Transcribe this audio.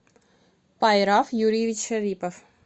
пайрав юрьевич шарипов